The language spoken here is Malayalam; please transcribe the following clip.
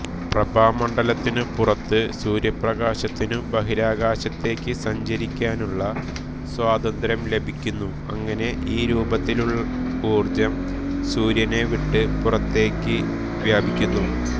പ്രഭാമണ്ഡലത്തിനു പുറത്ത് സൂര്യപ്രകാശത്തിനു ബഹിരാകാശത്തേക്ക് സഞ്ചരിക്കാനുള്ള സ്വാതന്ത്ര്യം ലഭിക്കുന്നു അങ്ങനെ ഈ രൂപത്തിൽ ഊർജ്ജം സൂര്യനെ വിട്ടു പുറത്തേക്ക് വ്യാപിക്കുന്നു